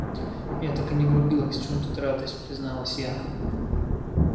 я так и не врубилась в чём тут радость призналась я